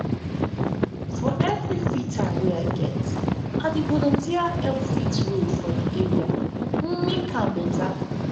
for free time i dey volunteer help fix road for di area make am better.